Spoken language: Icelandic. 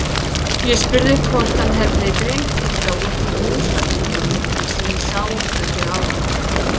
Ég spurði hvort hann hefði dreymt illa út af músarunganum sem við sáum kvöldið áður.